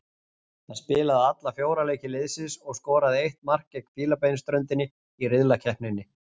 Hann spilaði alla fjóra leiki liðsins og skoraði eitt mark gegn Fílabeinsströndinni í riðlakeppninni.